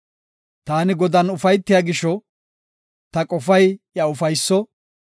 Taani Godan ufaytiya gisho, ta qofay iya ufayso.